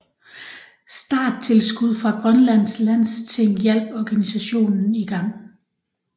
Starttilskud fra Grønlands Landsting hjalp organisationen i gang